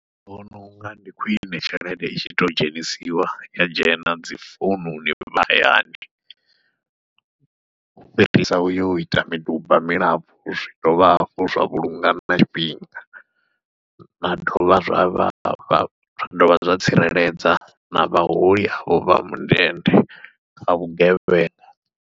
Ndi vhona unga ndi khwiṋe tshelede i tshi to dzhenisiwa ya dzhena dzi foununi vha hayani, u fhirisa uyo ita miduba milapfhu zwi ḓovha hafhu zwa vhulunga na tshifhinga na dovha zwavha zwa dovha zwa tsireledza na vhaholi vha mundende ha vhugevhenga.